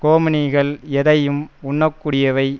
ஹோமினிகள் எதையும் உண்ணக்கூடியவை